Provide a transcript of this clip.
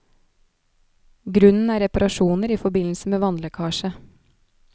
Grunnen er reparasjoner i forbindelse med vannlekkasje.